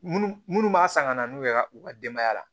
Munnu munnu b'a san ka na n'u ye ka u ka denbaya la